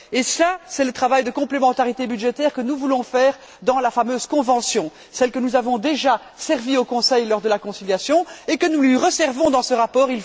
Et cela, c'est le travail de complémentarité budgétaire que nous voulons faire dans la fameuse convention, celle que nous avons déjà servie au Conseil lors de la conciliation et que nous lui resservons dans ce rapport.